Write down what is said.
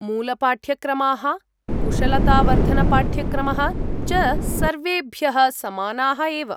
मूलपाठ्यक्रमाः, कुशलतावर्धनपाठ्यक्रमः च सर्वेभ्यः समानाः एव।